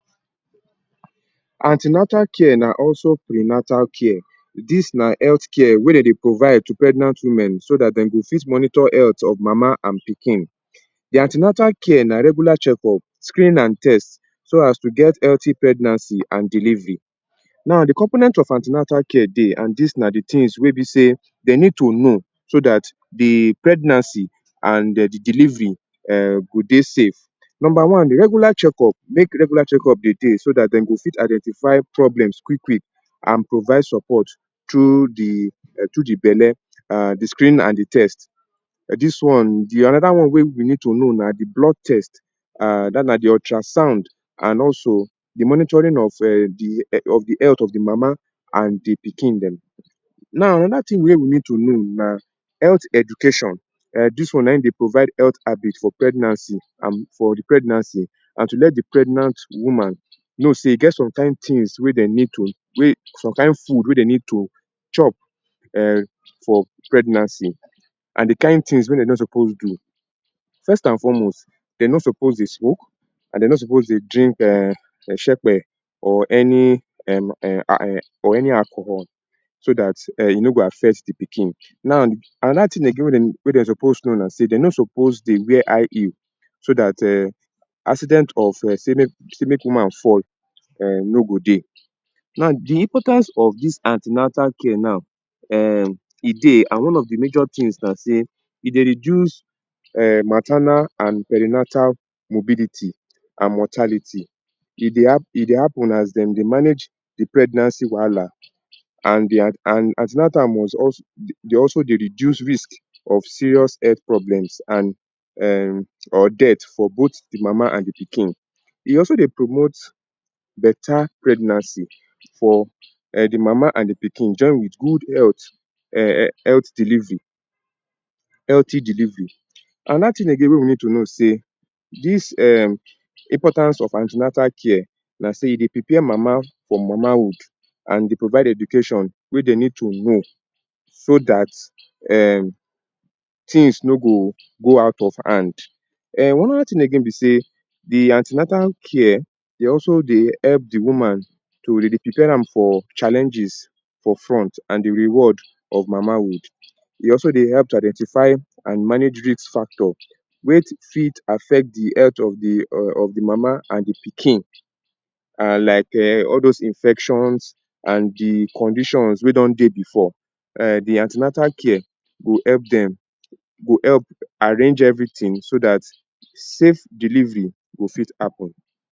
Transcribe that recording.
An ten atal care na also prenatal care this na health care wey dem dey provide to pregnant women so dat dem go fit monitor health of mama and pikin. The an ten atal care na regular check- up, screening and test so as to get healthy pregnancy and delivery, now d component of an ten atal care dey and dis na the things wey be sey dem need to know so dat d pregnancy and um d delivery go dey safe, number one regular check-up, make regular check-up dey dey so dat dem go fit identify problems quick quick and provide support through d belle, the screen and d test dis one another one wey we need to know na d blood test um dat one na the ultra sound and also d monitoring of um the health of the mama and the pikin dem, now another thing wey we need to know na health education this one na im dey provide health habit for pregnancy and for the pregnancy and to let the pregnant woman know sey e get some kind things wey dem need to some kind food wey dem need to chop um for pregnancy and the kind things wey dem no suppose do. First and foremost dem no suppose dey smoke and dem no suppose dey drink um shekpe or any im or any alcohol so dat um e no go affect the pikin now another thing again wey dem suppose know na sey dem no suppose dey wear high heel so dat um accident of um sey make woman fall no go dey. Now the importance of dis an ten atal care now um e dey and one of the major things na sey e dey reduce um maternal and perinatal mobility and mortality e dey e dey happen as dem dey manage the pregnancy wahala and an ten atal must also dey also dey reduce risk of serious health problems and um or death for both d mama and d pikin, e also dey promote better pregnancy for um d mama and d pikin join with good health, health delivery, healthy delivery, Another thing again wey we need to know say um dis importance of an ten atal care na sey e dey prepare mama for mama hood and dey provide education wey dem need to know so dat um things no go go out of hand um another thing be sey d an ten atal care dey also dey help d woman to dey prepare am for challenges for front and d reward of mama hood e also dey help to identify and manage risk factor wey fit affect d health of d mama and d pikin and like um all dose infections and d conditions wey don dey before um d an ten atal care go help dem go help arrange everything so dat safe delivery go fit happen.